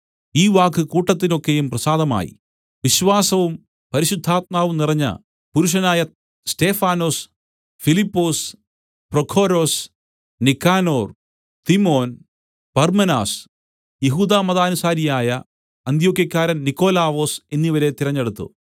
ഈ വാക്ക് കൂട്ടത്തിന് ഒക്കെയും പ്രസാദമായി വിശ്വാസവും പരിശുദ്ധാത്മാവും നിറഞ്ഞ പുരുഷനായ സ്തെഫാനൊസ് ഫിലിപ്പൊസ് പ്രൊഖൊരൊസ് നിക്കാനോർ തിമോൻ പർമ്മെനാസ് യെഹൂദമതാനുസാരിയായ അന്ത്യോക്യക്കാരൻ നിക്കൊലാവൊസ് എന്നിവരെ തിരഞ്ഞെടുത്തു